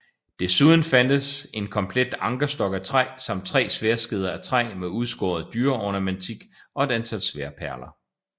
Desuden fandtes en komplet ankerstok af træ samt tre sværdskeder af træ med udskåret dyreornamentik og et antal sværdperler